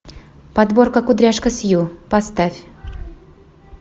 подборка кудряшка сью поставь